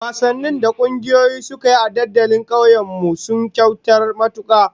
Wasannin da kungiyoyi suka yi a dandalin tsakiyar kauyen mu, sun kayatar kwarai